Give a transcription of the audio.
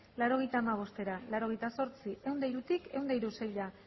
laurogeita hamabostera laurogeita zortzi ehun eta hirutik ehun eta seira